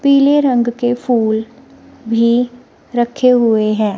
पीले रंग के फूल भी रखे हुए हैं।